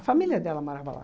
Família dela morava lá.